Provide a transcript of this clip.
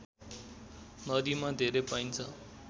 नदीमा धेरै पाइन्छ